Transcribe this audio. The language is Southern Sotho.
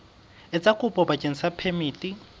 etsa kopo bakeng sa phemiti